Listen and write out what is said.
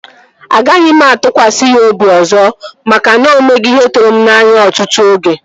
Agaghị m atụkwasị ya obi ọzọ maka na o mego ihe tụrụ m n'anya ọtụtụ oge